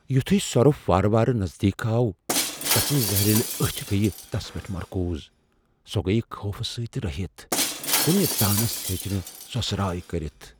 یُتھوٕے سرُپھ وارٕ وارٕ نزدیک آو ، تسنزِ زہریلہٕ أچھ گیہ تس پیٹھ مركوٗز ، سۄ گیہ خوفہٕ سٕتۍ رہِتھ ، کُنہ تانس ہیٚچ نہ سۄسراے کٔرِتھ۔